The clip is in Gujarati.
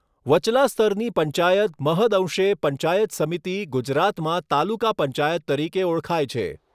વચલા સ્તરની પંચાયત મહદ્અંશે પંચાયત સમિતિ ગુજરાતમાં તાલુકા પંચાયત તરીકે ઓળખાય છે.